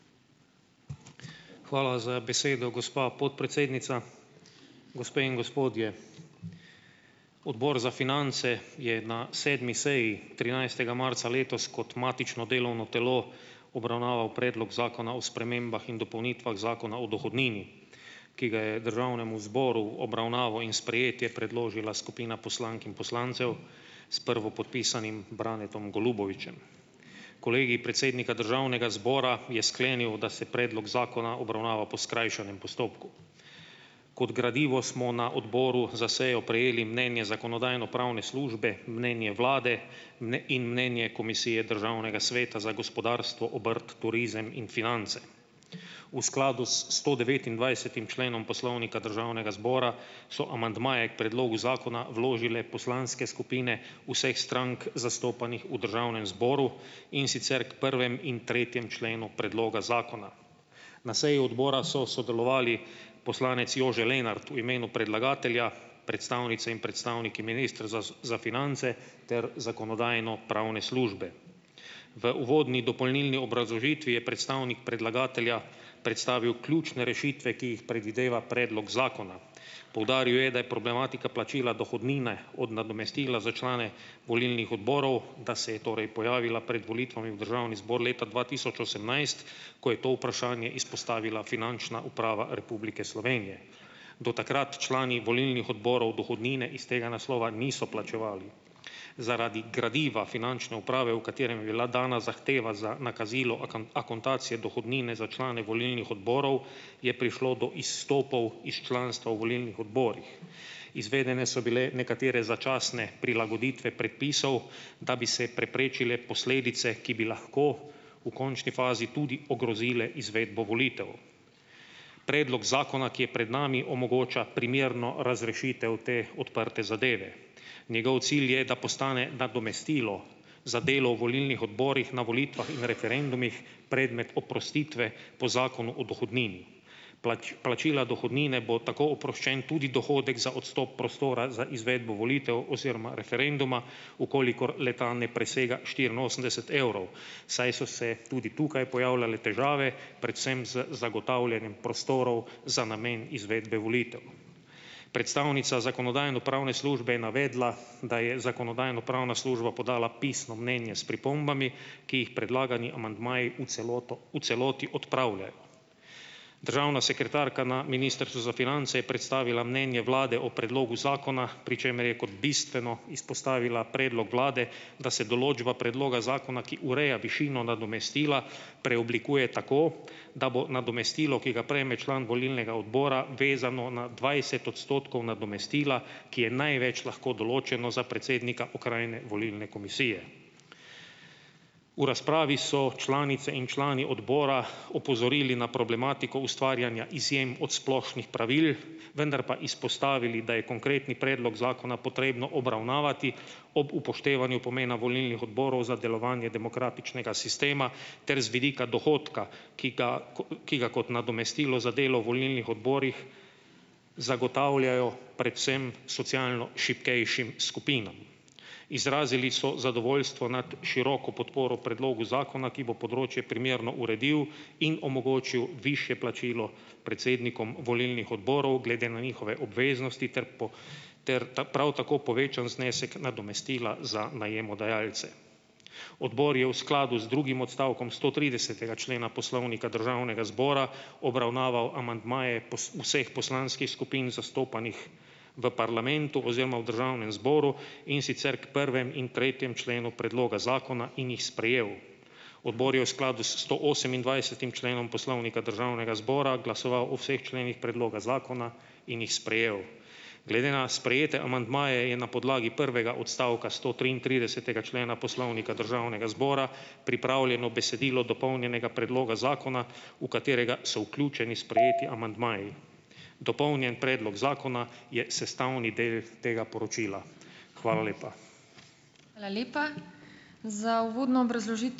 Hvala za besedo, gospa podpredsednica. Gospe in gospodje! Odbor za finance je na sedmi seji trinajstega marca letos kot matično delovno telo obravnaval predlog zakona o spremembah in dopolnitvah Zakona o dohodnini, ki ga je državnemu zboru obravnavo in sprejetje predložila skupina poslank in poslancev s prvopodpisanim Branetom Golubovićem. Kolegij predsednika Državnega zbora je sklenil, da se predlog zakona obravnava po skrajšanem postopku. Kot gradivo smo na odboru za sejo prejeli mnenje Zakonodajno-pravne službe, mnenje vlade in mnenje Komisije Državnega sveta za gospodarstvo, obrt, turizem in finance. V skladu s stodevetindvajsetim členom Poslovnika Državnega zbora so amandmaje k predlogu zakona vložile poslanske skupine vseh strank zastopanih v državnem zboru, in sicer k prvem in tretjem členu predloga zakona. Na seji odbora so sodelovali: poslanec Jože Lenart v imenu predlagatelja, predstavnice in predstavniki Ministrstva za finance ter Zakonodajno-pravne službe. V uvodni dopolnilni obrazložitvi je predstavnik predlagatelja predstavil ključne rešitve, ki jih predvideva predlog zakona. Poudaril je, da je problematika plačila dohodnine od nadomestila za člane volilnih odborov, da se je torej pojavila pred volitvami v državni zbor leta dva tisoč osemnajst, ko je to vprašanje izpostavila Finančna uprava Republike Slovenije. Do takrat člani volilnih odborov dohodnine iz tega naslova niso plačevali. Zaradi gradiva Finančne uprave, v katerem je bila dana zahteva za nakazilo akontacije dohodnine za člane volilnih odborov, je prišlo do izstopov iz članstva v volilnih odborih. Izvedene so bile nekatere začasne prilagoditve predpisov, da bi se preprečile posledice, ki bi lahko v končni fazi tudi ogrozile izvedbo volitev. Predlog zakona, ki je pred nami, omogoča primerno razrešitev te odprte zadeve, njegov cilj je, da postane nadomestilo za delo v volilnih odborih na volitvah in referendumih predmet oprostitve po Zakonu o dohodnini. plačila dohodnine bo tako oproščen tudi dohodek za odstop prostora za izvedbo volitev oziroma referenduma, v kolikor le-ta ne presega štiriinosemdeset evrov, saj so se tudi tukaj pojavljale težave, predvsem z zagotavljanjem prostorov za namen izvedbe volitev. Predstavnica Zakonodajno-pravne službe je navedla, da je Zakonodajno-pravna služba podala pisno mnenje s pripombami, ki jih predlagani amandmaji v celoto v celoti odpravljajo. Državna sekretarka na Ministrstvu za finance je predstavila mnenje vlade o predlogu zakona, pri čemer je kot bistveno izpostavila predlog vlade, da se določba predloga zakona, ki ureja višino nadomestila preoblikuje tako, da bo nadomestilo, ki ga prejme član volilnega odbora vezano na dvajset odstotkov nadomestila, ki je največ lahko določeno za predsednika okrajne volilne komisije. V razpravi so članice in člani odbora opozorili na problematiko ustvarjanja izjem od splošnih pravil, vendar po izpostavili, da je konkretni predlog zakona potrebno obravnavati ob upoštevanju pomena volilnih odborov za delovanje demokratičnega sistema ter z vidika dohodka, ki ga ki ga kot nadomestilo za delo v volilnih odborih zagotavljajo predvsem socialno šibkejšim skupinam. Izrazili so zadovoljstvo nad široko podporo predlogu zakona, ki bo področje primerno uredil in omogočil višje plačilo predsednikom volilnih odborov glede na njihove obveznosti ter po ter ta prav tako povečan znesek nadomestila za najemodajalce. Odbor je v skladu z drugim odstavkom stotridesetega člena Poslovnika Državnega zbora obravnaval amandmaje vseh poslanskih skupin zastopanih v parlamentu oziroma v državnem zboru, in sicer k prvem in tretjem členu predloga zakona, in jih sprejel. Odbor je v skladu s stoosemindvajsetim členom Poslovnika Državnega zbora glasoval o vseh členih predloga zakona in jih sprejel. Glede na sprejete amandmaje je na podlagi prvega odstavka stotriintridesetega člena Poslovnika Državnega zbora pripravljeno besedilo dopolnjenega predloga zakona, v katerega so vključeni sprejeti amandmaji, dopolnjen predlog zakona je sestavni del tega poročila. Hvala lepa. Hvala lepa. Za uvodno ...